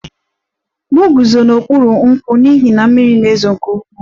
M guzo n'okpuru nkwụ n'ihi na mmiri na-ezo nke ukwuu